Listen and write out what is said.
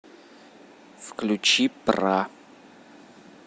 включи пра